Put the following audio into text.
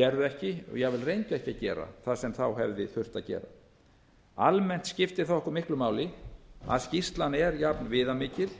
gerðu ekki og jafnvel reyndu ekki að gera það sem hefði þurft að gera almennt skiptir það okkur miklu máli að skýrslan er jafn viðamikil